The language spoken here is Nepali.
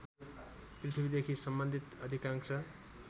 पृथ्वीदेखि सम्बन्धित अधिकांश